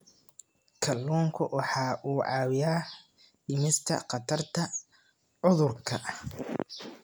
Kalluunku waxa uu caawiyaa dhimista khatarta cudurrada.